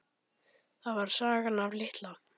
Það var sagan af Litla